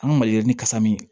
An ka maliyirini kasa min